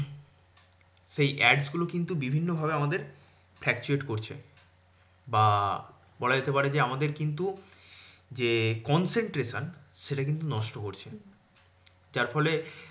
সেই Ads গুলো কিন্তু বিভিন্ন ভাবে আমাদের fluctuate করছে বা বলাযেতে পারে যে আমাদের কিন্তু যে concentration সেটা কিন্তু নষ্ট করছে। যার ফলে